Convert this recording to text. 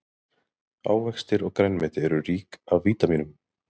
Ávextir og grænmeti eru rík af vítamínum.